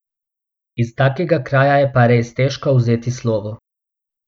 Iz takega kraja je pa res težko vzeti slovo.